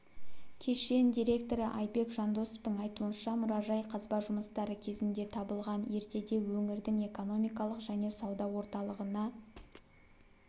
кешен директоры айбек жандосовтың айтуынша мұражай қазба жұмыстары кезінде табылған ертеде өңірдің экономикалық және сауда орталығына